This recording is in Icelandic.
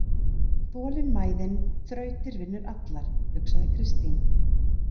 Þolinmæðin þrautir vinnur allar, hugsaði Kristín.